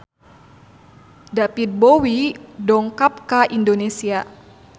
David Bowie dongkap ka Indonesia